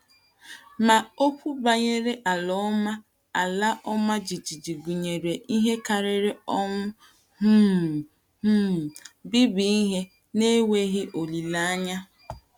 Ma okwu banyere ala ọma ala ọma jijiji gụnyere ihe karịrị ọnwụ um, um mbibi ihe, na enweghị olileanya.